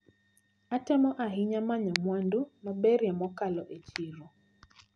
Atemo ahinya manyo mwandu maberie mokalo e chiro.